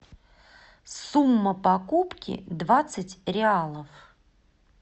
сумма покупки двадцать реалов